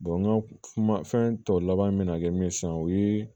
n ka kuma fɛn tɔ laban bɛna kɛ min ye sisan o ye